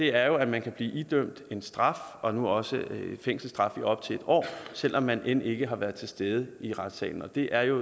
er jo at man kan blive idømt en straf og nu også fængselsstraf i op til en år selv om man end ikke har været til stede i retssalen og det er jo